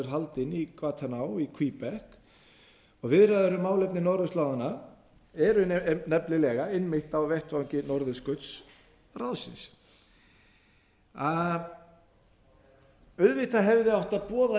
haldinn í kvatanau québec og viðræður um málefni norðurslóðanna eru nefnilega einmitt á vettvangi norðurskautsráðsins auðvitað hefðum við átt að boða